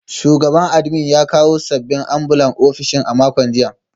Shugaban admin ya kawo sabbin ambulan ofishin a makon jiya